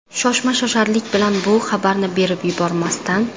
Shoshma-shosharlik bilan bu xabarni berib yubormasdan.